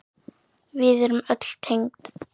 Við erum öll tengd.